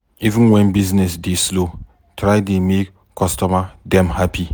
Even wen business dey slow, try dey make customer dem hapi.